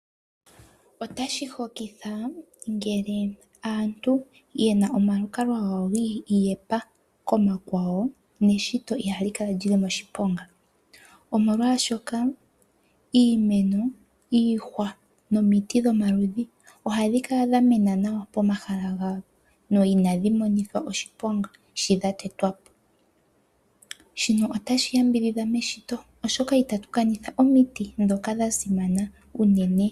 Otashi hokitha ngele aantu ye na omalukalwa gawo gi iyepa komakwawo neshito ihali kala li li moshiponga. Omolwashoka iimeno, iihwa nomiti dhomaludhi ohadhi kala dha mena nawa pomahala gadho no inadhi monithwa oshiponga shi dha tetwa po. Shino otashi yambidhidha meshito, oshoka itatu kanitha omiti ndhoka dha simana unene.